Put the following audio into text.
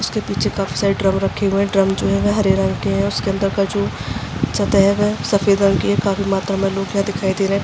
इसके पीछे cup side drum रखे हुए हैं। ड्रम जो हैं वो हरे रंग के हैं। उसके अन्दर का जो सतेहव है सफेद रंग की है। काफी मात्रा मे लोग यहाँ दिखाई दे रहे हैं।